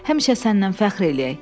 Həmişə səndən fəxr eləyək.